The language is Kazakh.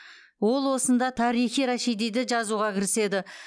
ол осында тарихи рашидиді жазуға кіріседі